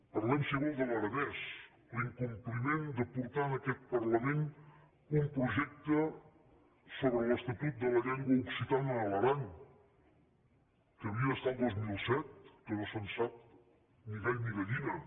parlem si vol de l’aranès l’incompliment de portar en aquest parlament un projecte sobre l’estatut de la llengua occitana a l’aran que havia d’estar el dos mil set que no se’n sap ni gall ni gallina